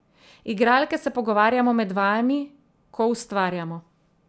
Igralke se pogovarjamo med vajami, ko ustvarjamo.